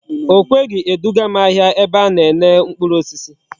O kweghi edugam ahia ebe ana ene mkpuru osisi